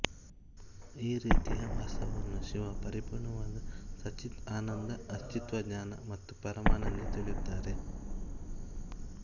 ಈ ರೀತಿಯ ವಾಸ್ತವವನ್ನು ಶಿವ ಪರಿಪೂರ್ಣವಾದ ಸತ್ಚಿತ್ಆನಂದ ಅಸ್ತಿತ್ವ ಜ್ಞಾನ ಮತ್ತು ಪರಮಾನಂದ ಎಂದು ತಿಳಿಯುತ್ತಾರೆ